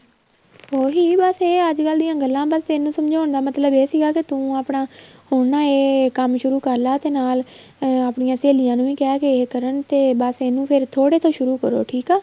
ਉਹੀ ਬੱਸ ਇਹ ਅੱਜ ਕੱਲ ਦੀਆ ਗੱਲਾਂ ਬੱਸ ਤੈਨੂੰ ਸਮਝਾਉਣ ਦਾ ਮਤਲਬ ਇਹ ਸੀਗਾ ਤੂੰ ਆਪਣਾ ਹੁਣ ਨਾ ਇਹ ਕੰਮ ਸ਼ੁਰੂ ਕਰਲਾ ਤੇ ਨਾਲ ਆਪਣੀਆਂ ਸਹੇਲੀਆਂ ਨੂੰ ਕਹਿ ਇਹ ਕਰਨ ਤੇ ਬੱਸ ਇਹਨੂੰ ਥੋੜੇ ਤੋ ਸ਼ੁਰੂ ਕਰੋ ਠੀਕ ਆ